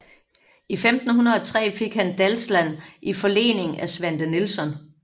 I 1503 fik han Dalsland i forlening af Svante Nilsson